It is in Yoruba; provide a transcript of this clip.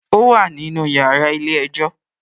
Ó wà nínú yàrá ilé-ẹjọ́